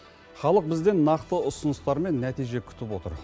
халық бізден нақты ұсыныстар мен нәтиже күтіп отыр